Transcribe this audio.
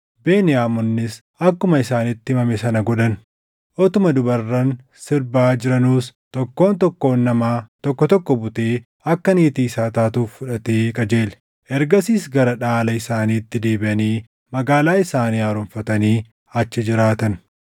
Beniyaamonnis akkuma isaanitti himame sana godhan; utuma dubarran sirbaa jiranuus tokkoon tokkoon namaa tokko tokko butee akka niitii isaa taatuuf fudhatee qajeele. Ergasiis gara dhaala isaaniitti deebiʼanii magaalaa isaanii haaromfatanii achi jiraatan.